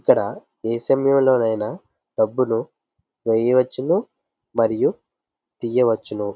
ఇక్కడ ఏ సమయంలో నయినా డబ్బులు వేయవచ్చును మరియు తీయవచ్చును.